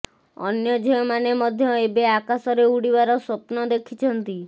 ଅନ୍ୟ ଝିଅ ମାନେ ମଧ୍ୟ ଏବେ ଆକାଶରେ ଉଡିବାର ସ୍ବପ୍ନ ଦେଖିଛନ୍ତି